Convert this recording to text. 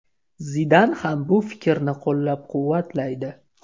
Zidan ham bu fikrni qo‘llab-quvvatlaydi.